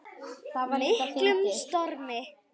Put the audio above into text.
miklum stormi.